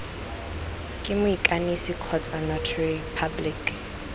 ke moikanisi kgotsa notary public